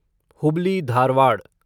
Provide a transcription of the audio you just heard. Hubli Dharwad